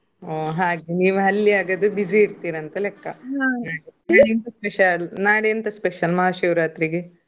ಹ್ಮ್ ಹಾಗೆ ನೀವು ಅಲ್ಲಿ ಹಾಗಾದ್ರೆ busy ಇರ್ತೀರಿ ಅಂತ ಲೆಕ್ಕ. ನಾಳೆ ಎಂತ special . ನಾಳೆ ಎಂತ special ಮಹಾಶಿವ ರಾತ್ರಿಗೆ?